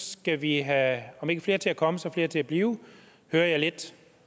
skal vi have om ikke flere til at komme så flere til at blive hører jeg lidt